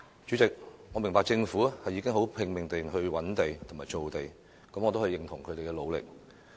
主席，我明白政府已拼命覓地和造地，我也認同他們的努力。